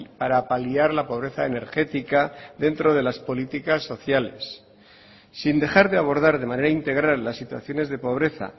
para paliar la pobreza energética dentro de las políticas sociales sin dejar de abordar de manera integral las situaciones de pobreza